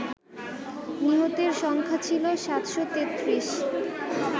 নিহতের সংখ্যা ছিল ৭৩৩